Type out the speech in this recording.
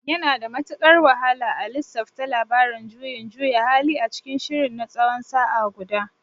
Yana da matukar wahala a lissafta labarin juyin juya hali a cikin shirin na tsawon sa'a guda.